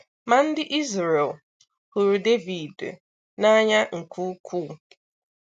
Mà ndị̀ Izrel hụrụ̀ Dèvìd n’anyà nké ukwuù.